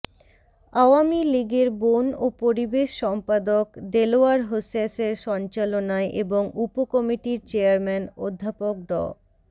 আওয়ামী লীগের বন ও পরিবেশ সম্পাদক দেলোয়ার হোসেসের সঞ্চালনায় এবং উপকমিটির চেয়ারম্যান অধ্যাপক ড